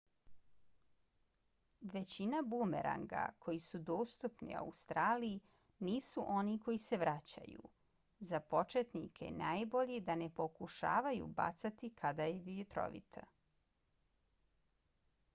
većina bumeranga koji su dostupni u australiju nisu oni koji se vraćaju. za početnike je najbolje da ne pokušavaju bacati kada je vjetrovito